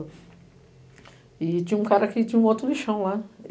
E tinha um cara que tinha um outro lixão lá.